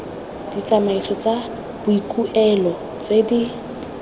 ditsamaiso tsa boikuelo tse di